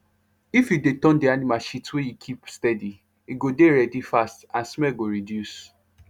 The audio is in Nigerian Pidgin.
if you dey turn the animal shit wey you keep steady e go dey ready fast and smell go reduce